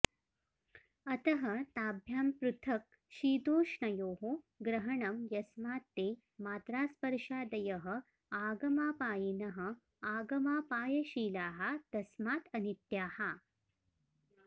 अतः ताभ्यां पृथक् शीतोष्णयोः ग्रहणम् यस्मात् ते मात्रास्पर्शादयः आगमापायिनः आगमापायशीलाः तस्मात् अनित्याः